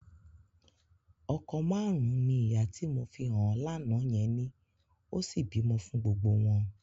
Ọkọ márùn-ún ni ìyá tí mo fi hàn ẹ́ lánàá yẹn ní, ó sì bímọ fún gbogbo wọn.